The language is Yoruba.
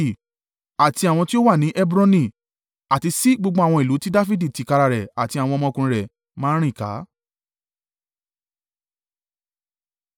Àti àwọn tí ó wà ni Hebroni, àti sí gbogbo àwọn ìlú ti Dafidi tìkára rẹ̀ àti tí àwọn ọmọkùnrin rẹ̀ máa ń rìn ká.